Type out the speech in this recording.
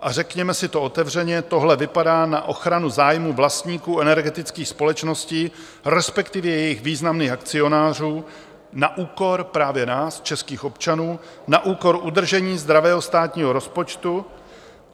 A řekněme si to otevřeně, tohle vypadá na ochranu zájmu vlastníků energetických společností, respektive jejich významných akcionářů, na úkor právě nás, českých občanů, na úkor udržení zdravého státního rozpočtu.